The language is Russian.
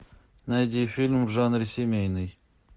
найди фильм в жанре семейный